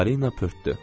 Parina pörtdü.